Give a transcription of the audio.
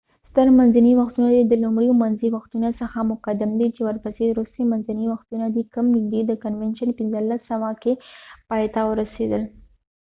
ستر منځني وختونه د لومړیو منځي وختونو څخه مقدم دي چې ورپسې وروستي منځني وختونه دي کوم نږدې د کنوینشن 1500 کې پایته ورسیدل